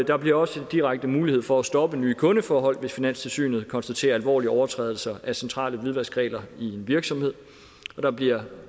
der bliver også direkte mulighed for at stoppe nye kundeforhold hvis finanstilsynet konstaterer alvorlige overtrædelser af centrale hvidvaskregler i en virksomhed der bliver et